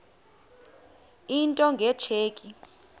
into nge tsheki